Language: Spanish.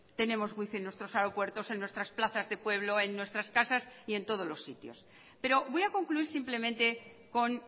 tenemos wi fi en nuestros aeropuertos en nuestras plazas de pueblo en nuestras casas y en todos los sitios pero voy a concluir simplemente con